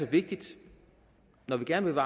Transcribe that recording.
vigtigt når vi gerne vil